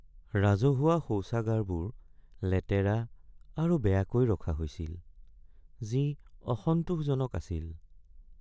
ৰাজহুৱা শৌচাগাৰবোৰ লেতেৰা আৰু বেয়াকৈ ৰখা হৈছিল, যি অসন্তোষজনক আছিল।